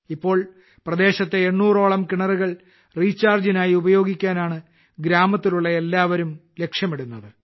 ഇപ്പോൾ പ്രദേശത്തെ 800 ഓളം കിണറുകൾ റീചാർജിനായി ഉപയോഗിക്കാനാണ് ഗ്രാമത്തിലുള്ള എല്ലാവരും ലക്ഷ്യമിടുന്നത്